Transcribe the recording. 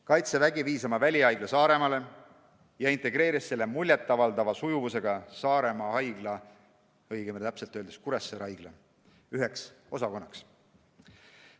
Kaitsevägi viis oma välihaigla Saaremaale ja integreeris selle muljet avaldava sujuvusega Kuressaare haigla üheks osakonnaks.